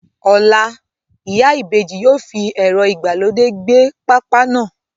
Ọ̀la, Ìyá Ibeji yóò fi ẹ̀rọ ìgbàlódé gbẹ pápá náà.